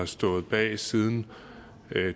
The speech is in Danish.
stået bag siden